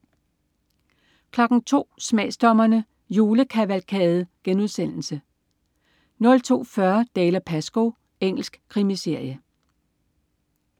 02.00 Smagsdommerne: Julekavalkade* 02.40 Dalziel & Pascoe. Engelsk krimiserie